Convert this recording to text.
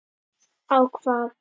á hvað?